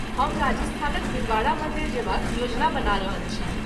हम राजस्थानक दिलवाड़ा मन्दिर जयबाक योजना बना रहल छी।